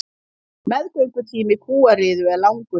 Meðgöngutími kúariðu er langur.